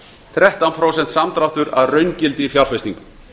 þrettán prósent samdráttur að raungildi í fjárfestingum